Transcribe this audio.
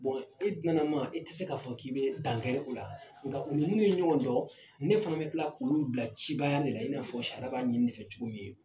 e duna na ma e tɛ se k'a fɔ k'i bɛ dankari o la nga u ni minnu ye ɲɔgɔn dɔn ne fana bɛ kila k'olu bila cibaya de la i n'a fɔ sariya b'a ɲini ne fɛ cogo min.